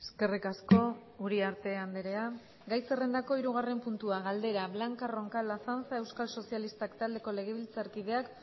eskerrik asko uriarte andrea gai zerrendako hirugarren puntua galdera blanca roncal azanza euskal sozialistak taldeko legebiltzarkideak